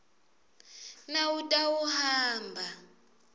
nawutawuhamba